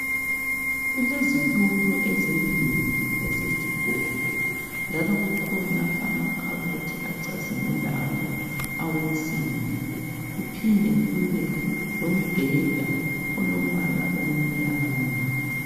Kulezitulo ezimbili ezesigodo njalo kukhona amakhabothi acazimulayo awensimbi kuphinde kube lombheda olombala omnyama.